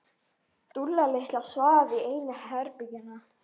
Dúlla litla svaf í einu herbergjanna.